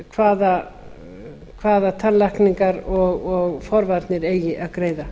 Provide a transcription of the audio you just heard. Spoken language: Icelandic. fyrir hvaða tannlækningar og forvarnir eigi að greiða